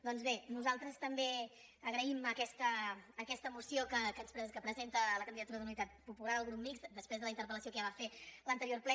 doncs bé nosaltres també agraïm aquesta moció que presenta la candidatura d’unitat popular el grup mixt després de la interpel·lació que ja va fer a l’anterior ple